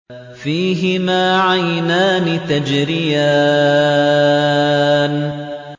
فِيهِمَا عَيْنَانِ تَجْرِيَانِ